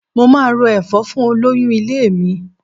Mo máa ro ẹ̀fọ́ fún olóyún ilé mi.